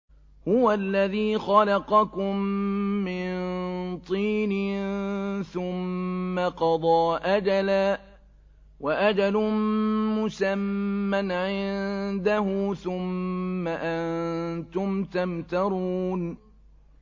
هُوَ الَّذِي خَلَقَكُم مِّن طِينٍ ثُمَّ قَضَىٰ أَجَلًا ۖ وَأَجَلٌ مُّسَمًّى عِندَهُ ۖ ثُمَّ أَنتُمْ تَمْتَرُونَ